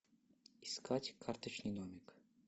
искать карточный домик